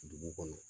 Dugu kɔnɔ